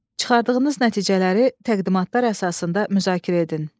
Çıxardığınız nəticələri təqdimatlar əsasında müzakirə edin.